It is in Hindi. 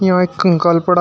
यहां एक कंकाल पड़ा है।